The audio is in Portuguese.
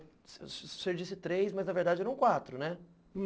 Você disse três, mas na verdade eram quatro, né?